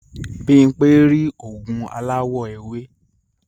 Bimpe máa ni ri ogun alawọ ewe.